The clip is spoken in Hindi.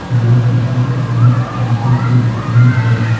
यह किसी किताब कॉपी की दुकान है।